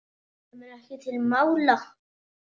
Kemur ekki til mála!